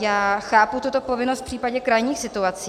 Já chápu tuto povinnost v případě krajních situací.